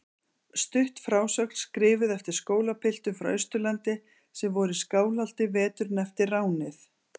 Stutt frásögn skrifuð eftir skólapiltum frá Austurlandi sem voru í Skálholti veturinn eftir ránið.